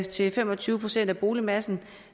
til fem og tyve procent af boligmassen